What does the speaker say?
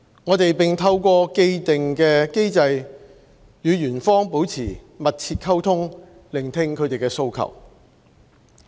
我們並透過既定機制與員方保持密切溝通，聆聽他們的訴求。